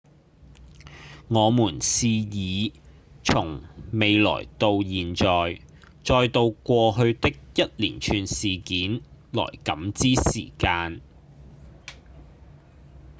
我們是以從未來到現在、再到過去的一連串事件來感知時間